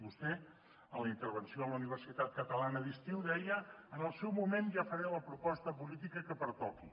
vostè en la intervenció a la universitat catalana d’estiu deia en el seu moment ja faré la proposta política que pertoqui